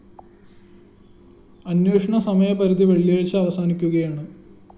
അന്വേഷണ സമയപരിധി വെള്ളിയാഴ്ച അവസാനിക്കുകയാണ്